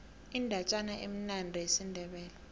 indatjana emnandi yesindebele